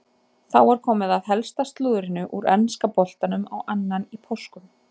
Þá er komið að helsta slúðrinu úr enska boltanum á annan í páskum.